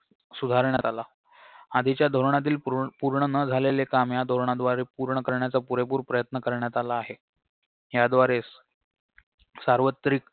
सुधारण्यात आला आदीच्या धोरणातील पुह पूर्ण न झालेले काम या धोरणाद्वारे पूर्ण करण्याचा पुरेपूर प्रयत्न करण्यात आला आहे याद्वारे सार्वत्रिक